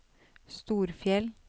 Storfjell